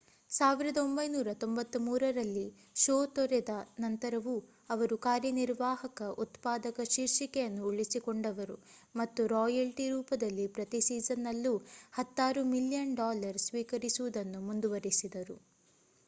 1993 ರಲ್ಲಿ ಶೋ ತೊರೆದ ನಂತರವೂ ಅವರು ಕಾರ್ಯನಿರ್ವಾಹಕ ಉತ್ಪಾದಕ ಶೀರ್ಷಿಕೆಯನ್ನು ಉಳಿಸಿಕೊಂಡರು ಮತ್ತು ರಾಯಲ್ಟಿ ರೂಪದಲ್ಲಿ ಪ್ರತಿ ಸೀಸನ್‌ನಲ್ಲೂ ಹತ್ತಾರು ಮಿಲಿಯನ್ ಡಾಲರ್ ಸ್ವೀಕರಿಸುವುದನ್ನು ಮುಂದುವರಿಸಿದರು